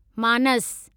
मानस